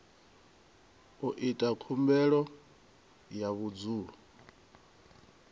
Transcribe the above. u ita khumbelo ya vhudzulo